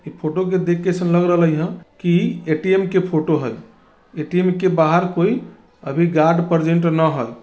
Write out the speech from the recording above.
ई photo को देख के ऐसे लग रा रही ला की ए_टी_एम के फोटो है ए_टी_एम के बाहर कोई अभी गार्ड प्रेजेंट न है।